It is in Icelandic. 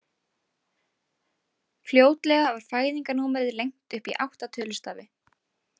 Fljótlega var fæðingarnúmerið lengt upp í átta tölustafi.